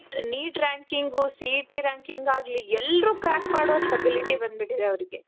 neat ranking, C E T ranking ಆಗ್ಲಿ ಎಲ್ದ್ರೂ crack ಮಾಡೋ ಅಷ್ಟು ability ಬಂದು ಬಿಟ್ಟಿದೆ ಅವ್ರ್ಗೆ